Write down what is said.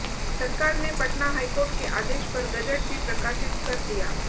सरकार ने पटना हाईकोर्ट के आदेश पर गजट भी प्रकाशित कर दिया